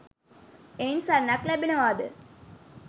එයින් සරණක් ලැබෙනවාද?